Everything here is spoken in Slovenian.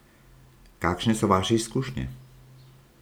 Kakšne so vaše izkušnje?